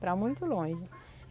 Para muito longe.